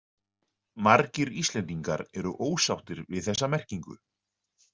Margir Íslendingar eru ósáttir við þessa merkingu.